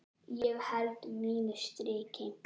Ég held mínu striki.